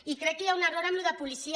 i crec que hi ha un error amb això de policia